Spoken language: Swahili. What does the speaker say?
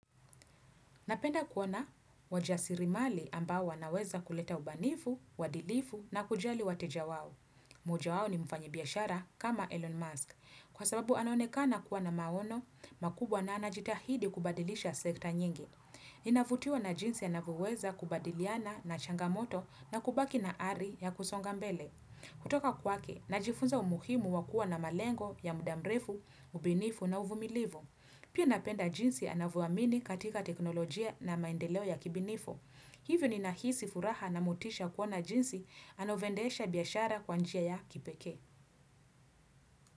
Napenda kuona wajasirimali ambao wanaweza kuleta ubanifu, uadilifu na kujali wateja wao. Moja wao ni mfanyi biashara kama Elon Musk. Kwa sababu anaonekana kuwa na maono, makubwa na anajitahidi kubadilisha sekta nyingi. Inavutiwa na jinsi anavyoweza kubadiliana na changamoto na kubaki na ari ya kusonga mbele. Kutoka kwake, najifunza umuhimu wa kuwa na malengo ya muda mrefu, ubinifu na uvumilivu. Pia napenda jinsi anavyoamini katika teknolojia na maendeleo ya kibinifo. Hivyo ninahisi furaha na motisha kuona jinsi anavyoendesha biashara kwa njia ya kipekee.